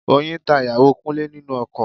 Oyin ta ìyàwó Kúnlé nínú oko